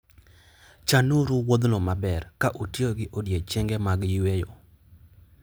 Chanuru wuodhno maber, ka utiyo gi odiechienge mag yweyo.